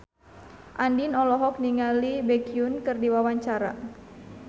Andien olohok ningali Baekhyun keur diwawancara